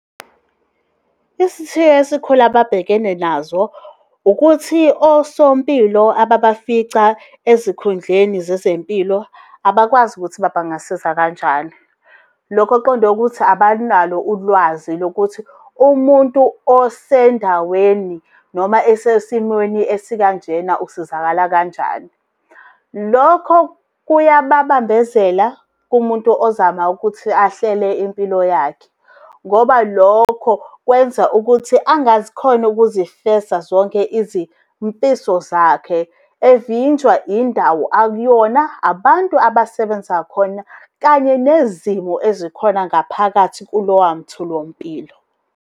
Isithiyo esikhulu ababhekene nazo, ukuthi osompilo ababafica ezikhundleni zezempilo abakwazi ukuthi bangabasiza kanjani. Lokho kuqonde ukuthi abanalo ulwazi lokuthi umuntu osendaweni noma esesimweni esikanjena usizakala kanjani. Lokho kuyababambezela kumuntu ozama ukuthi ahlele impilo yakhe. Ngoba lokho kwenza ukuthi angazikhoni ukuzifeza zonke izimfiso zakhe, evinjwa indawo akuyona, abantu abasebenza khona, kanye nezimo ezikhona ngaphakathi kulowa mtholampilo.